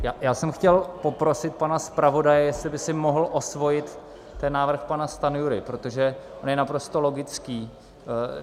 Já jsem chtěl poprosit pana zpravodaje, jestli by si mohl osvojit ten návrh pana Stanjury, protože on je naprosto logický.